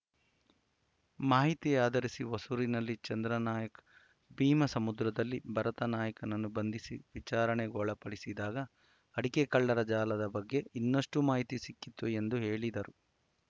ಮಾಹಿತಿ ಆದರಿಸಿ ಹೊಸೂರಿನಲ್ಲಿ ಚಂದ್ರನಾಯ್ಕ ಭೀಮಸಮುದ್ರದಲ್ಲಿ ಭರತನಾಯ್ಕನನ್ನು ಬಂಧಿಸಿ ವಿಚಾರಣೆಗೊಳಪಡಿಸಿದಾಗ ಅಡಕೆ ಕಳ್ಳರ ಜಾಲದ ಬಗ್ಗೆ ಇನ್ನಷ್ಟುಮಾಹಿತಿ ಸಿಕ್ಕಿತು ಎಂದು ಹೇಳಿದರು